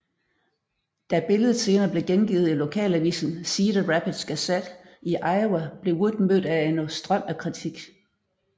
Da billedet senere blev gengivet i lokalavisen Cedar Rapids Gazette i Iowa blev Wood mødt af en strøm af kritik